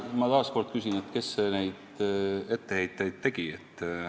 Ma taas kord küsin, kes neid etteheiteid tegi.